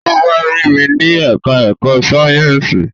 Ó wá rí mi ní ẹ̀ká ẹ̀kọ́ Sáyẹ̀nsì